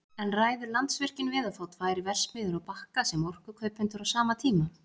En ræður Landsvirkjun við að fá tvær verksmiðjur á Bakka sem orkukaupendur á sama tíma?